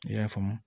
I y'a faamu